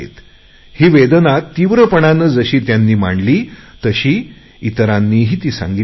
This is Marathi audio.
ही वेदना तीव्रपणाने जशी त्यांनी मांडली तशी इतरांनीही ती सांगितली आहे